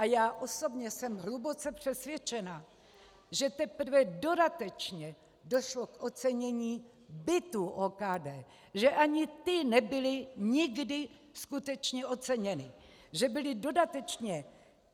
A já osobně jsem hluboce přesvědčena, že teprve dodatečně došlo k ocenění bytů OKD, že ani ty nebyly nikdy skutečně oceněny, že byly dodatečně...